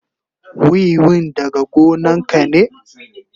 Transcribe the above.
Wiwin daga gonan ka ne?